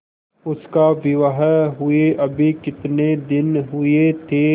उसका विवाह हुए अभी कितने दिन हुए थे